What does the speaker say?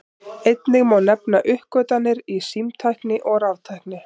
Einnig má nefna uppgötvanir í símtækni og raftækni.